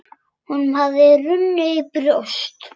Honum hafði runnið í brjóst.